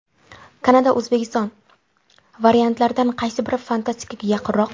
Kanada O‘zbekiston: variantlardan qaysi biri fantastikaga yaqinroq?.